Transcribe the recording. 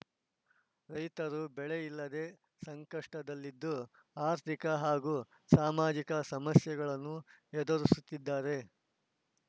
ರೈತರು ಬೆಳೆ ಇಲ್ಲದೆ ಸಂಕಷ್ಟದಲ್ಲಿದ್ದು ಅರ್ಥಿಕ ಹಾಗೂ ಸಾಮಾಜಿಕ ಸಮಸ್ಯೆಗಳನ್ನು ಎದುರಿಸುತ್ತಿದ್ದಾರೆ